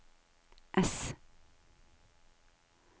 S